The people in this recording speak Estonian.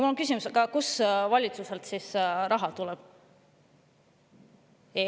Mul on küsimus: kust valitsusel raha tuleb?